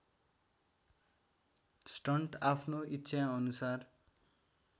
stunt आफ्नो इच्छाअनुसार